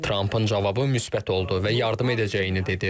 Trampın cavabı müsbət oldu və yardım edəcəyini dedi.